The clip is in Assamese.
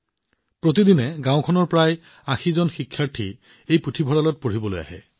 প্ৰতিদিনে গাওঁখনৰ প্ৰায় ৮০ জন শিক্ষাৰ্থী এই পুথিভঁৰাললৈ পঢ়িবলৈ আহে